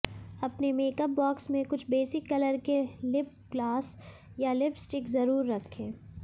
अपने makeup box में कुछ बेसिक कलर के लिप ग्लास या लिपस्टिक जरूर रखें